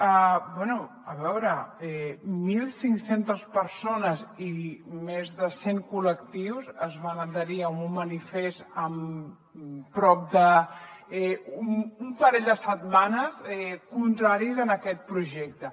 bé a veure mil cinc cents persones i més de cent col·lectius es van adherir a un manifest en prop d’un parell de setmanes contraris a aquest projecte